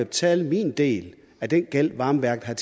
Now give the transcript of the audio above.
betale min del af den gæld varmeværket